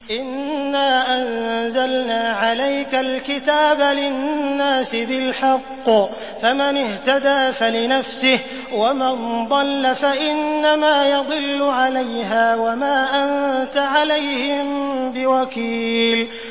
إِنَّا أَنزَلْنَا عَلَيْكَ الْكِتَابَ لِلنَّاسِ بِالْحَقِّ ۖ فَمَنِ اهْتَدَىٰ فَلِنَفْسِهِ ۖ وَمَن ضَلَّ فَإِنَّمَا يَضِلُّ عَلَيْهَا ۖ وَمَا أَنتَ عَلَيْهِم بِوَكِيلٍ